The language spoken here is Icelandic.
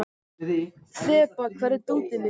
Þeba, hvar er dótið mitt?